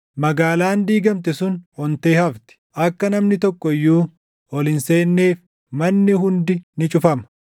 Magaalaan diigamte sun ontee hafti; akka namni tokko iyyuu ol hin seenneef manni hundi ni cufama.